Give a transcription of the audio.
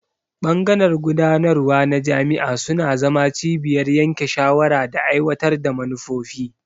Bangaren gudanarwa na jami'a suna zama cibiyar yanke shawara da aiwatar da manufofi.